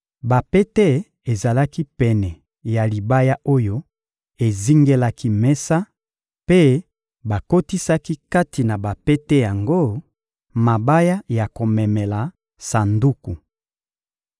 Bapete ezalaki pene ya libaya oyo ezingelaki mesa, mpe bakotisaki kati na bapete yango mabaya ya komemela Sanduku.